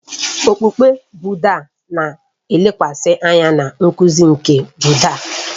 Okpukpe Bụddha na-elekwasị anya na nkuzi nke Bụddha